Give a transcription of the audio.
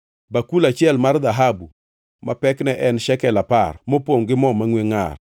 bakul achiel mar dhahabu ma pekne en shekel apar, mopongʼ gi mo mangʼwe ngʼar;